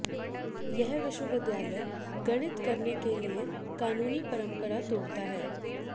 यह विश्वविद्यालय गठित करने के लिए कानूनी परंपरा तोड़ता है